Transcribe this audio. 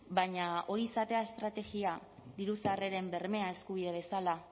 baina hori izatea estrategia diru sarreren bermea eskubide bezala